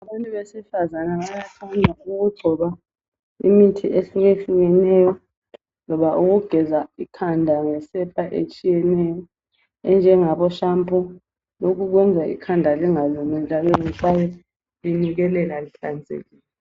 Abantu besifazana bayathanda ukugcoba imithi etshiyetshiyeneyo loba ukugeza ikhanda ngesepa etshiyeneyo enjengabo shampoo lokho kuyenza ikhanda lingalumi njalo lihlale linukelela lihlanzekile.